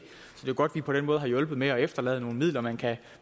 og det er på den måde har hjulpet med at efterlade nogle midler man kan